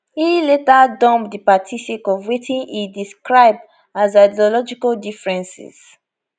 e later dump di party sake of wetin e describe as ideological differences